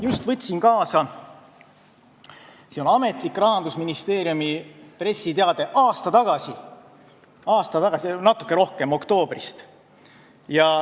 Ma võtsin kaasa ametliku Rahandusministeeriumi pressiteate, mis avaldati natuke rohkem kui aasta tagasi, oktoobris.